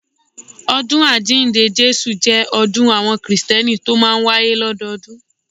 Ọdún Àjíǹde Jésù jẹ́ ọdún àwọn kìrìsìtẹ́nì tó máa ń wáyé lọ́dọọdún